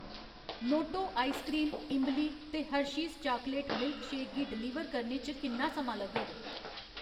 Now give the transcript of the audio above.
Noto ice cream इंबली ते Hershey's chocolate milkshake गी डलीवर करने च किन्ना समां लग्गग ?